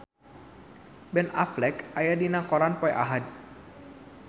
Ben Affleck aya dina koran poe Ahad